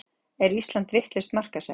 Er Ísland vitlaust markaðssett